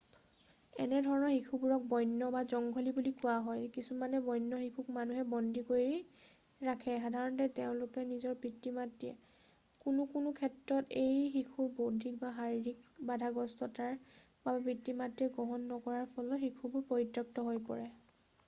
"এনে ধৰণৰ শিশুবোৰক "বন্য" বা জংঘলী বুলি কোৱা হয়। কিছুমান বন্য শিশুক মানুহে বন্দী কৰি ৰাখে সাধাৰণতে তেওঁলোকৰ নিজৰ পিতৃ-মাতৃয়ে; কোনো কোনো ক্ষেত্ৰত এনে শিশুৰ বৌদ্ধিক বা শাৰিৰীক বাধাগ্ৰস্ততাৰ বাবে পিতৃ-মাতৃয়ে গ্ৰহণ নকৰাৰ ফলত শিশুবোৰ পৰিত্যক্ত হৈ পৰে।""